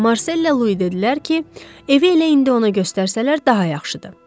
Amma Marsella Lui dedilər ki, evi elə indi ona göstərsələr daha yaxşıdır.